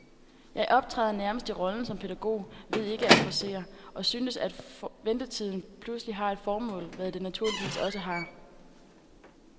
Jeg optræder nærmest i rollen som pædagog ved ikke at forcere, og synes, at ventetiden pludselig har et formål, hvad den naturligvis også har.